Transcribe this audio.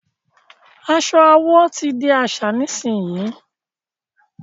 aṣọ àwọ tí dì àṣà nísìsiyìí!